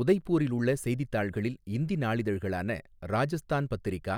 உதய்பூரில் உள்ள செய்தித்தாள்களில் இந்தி நாளிதழ்களான ராஜஸ்தான் பத்திரிகா,